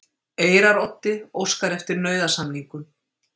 Eyraroddi óskar eftir nauðasamningum